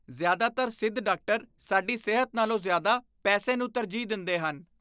ਜ਼ਿਆਦਾਤਰ ਸਿੱਧ ਡਾਕਟਰ ਸਾਡੀ ਸਿਹਤ ਨਾਲੋਂ ਜ਼ਿਆਦਾ ਪੈਸੇ ਨੂੰ ਤਰਜੀਹ ਦਿੰਦੇ ਹਨ।